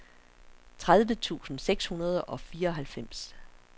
tredive tusind seks hundrede og fireoghalvfems